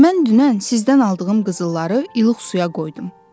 Mən dünən sizdən aldığım qızılları ilıq suya qoydum.